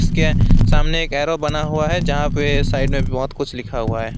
सामने एक एरो बना हुआ है जहां पे साइड में बहुत कुछ लिखा हुआ है।